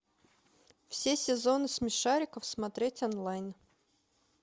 все сезоны смешариков смотреть онлайн